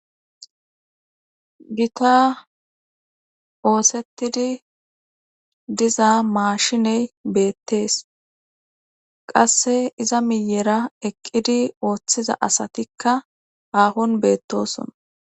Gita oosettidi diza maashiney beettees qasse iza miyera eqqidi ooththiza asatikka aahon beettosona.